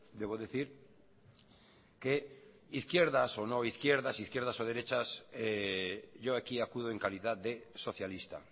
debo decir que izquierdas o no izquierdas izquierdas y derechas yo aquí acudo en calidad de socialista